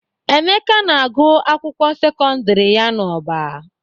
Emeka na-agụ akwụkwọ sekondiri ya n'Ọba.